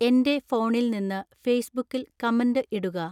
എന്‍റെ ഫോണിൽ നിന്ന് ഫേസ്ബുക്കിൽ കമന്റ് ഇടുക